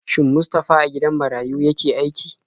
Shin Mustafa a gidan marayu yake aiki?